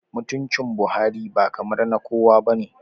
Mutuncin Buhari ba kamar na kowa ba ne